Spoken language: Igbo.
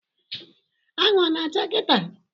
Anwụ ọ na-acha kịta?